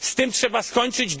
Z tym trzeba skończyć.